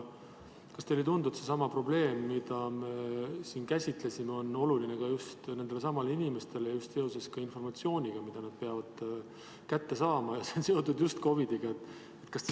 Kas teile ei tundu, et see sama probleem, mida siin käsitlesime, on oluline just nendele samadele inimestele just seoses informatsiooniga, mida nad peavad kätte saama ja see on seotud just COVID-iga?